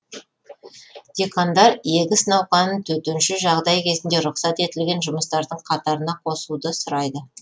диқандар егіс науқанын төтенше жағдай кезінде рұқсат етілген жұмыстардың қатарына қосуды сұрайды